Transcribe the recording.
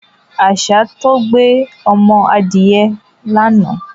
Àṣà tó gbé ọmọ adìyẹ lánàá.